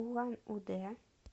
улан удэ